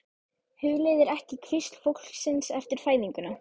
Hugleiðir ekki hvísl fólksins eftir fæðinguna.